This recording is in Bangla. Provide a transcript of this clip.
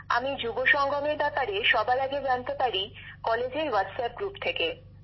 আমি যুব সংগমের ব্যাপারে সবার আগে জানতে পারি কলেজের হোয়াটস অ্যাপ গ্রুপ থেকে